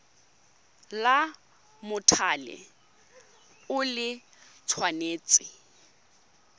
la mothale o le tshwanetse